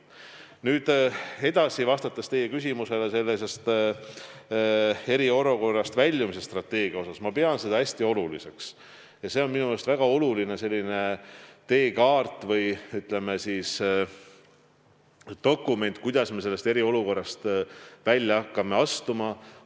Nüüd edasi, vastates teie küsimusele eriolukorrast väljumise strateegia kohta, ma pean seda hästi oluliseks ja see on minu meelest väga oluline teekaart või, ütleme, dokument, kuidas me hakkame sellest eriolukorrast välja astuma.